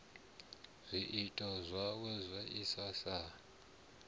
zwiito zwawe saizwi a sa